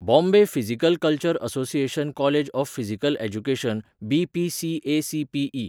Bombay physical culture association college of physical education BPCACPE.